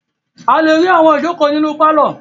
A le rí àwọn ìjókòó nínú pálọ̀.